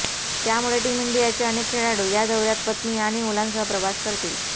त्यामुळे टीम इंडियाचे अनेक खेळाडू या दौऱ्यात पत्नी आणि मुलांसह प्रवास करतील